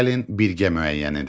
Gəlin birgə müəyyən edək.